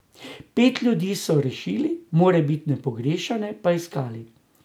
Pet ljudi so rešili, morebitne pogrešane pa iskali.